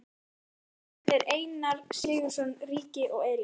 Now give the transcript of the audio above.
Sama áhuga sýndu þeir Einar Sigurðsson ríki og Elías